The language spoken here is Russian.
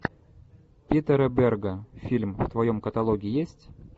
питера берга фильм в твоем каталоге есть